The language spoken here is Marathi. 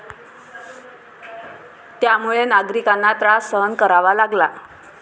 त्यामुळे नागरिकांना त्रास सहन करावा लागला.